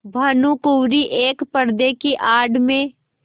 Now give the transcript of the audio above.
भानुकुँवरि एक पर्दे की आड़ में